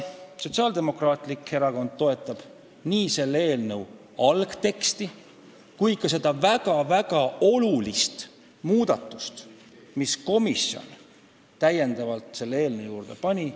Sotsiaaldemokraatlik Erakond toetab nii selle eelnõu algteksti kui ka neid väga-väga olulisi muudatusi, mille komisjon on selle eelnõu juurde pannud.